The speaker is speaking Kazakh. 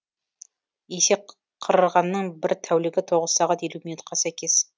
есек қырғанның бір тәулігі тоғыз сағат елу минутқа сәйкес